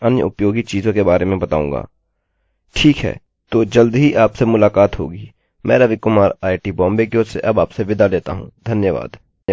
ठीक है तो जल्द ही आपसे मुलकात होगी मैं रवि कुमार आईआईटी बॉम्बे की ओर से अब आपसे विदा लेता हूँ धन्यवाद